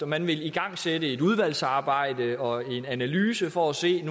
man ville igangsætte et udvalgsarbejde og en analyse for at se